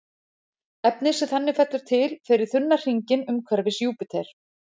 Efnið sem þannig fellur til fer í þunna hringinn umhverfis Júpíter.